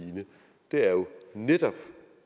netop